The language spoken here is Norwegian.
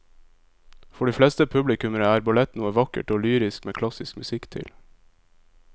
For de fleste publikummere er ballett noe vakkert og lyrisk med klassisk musikk til.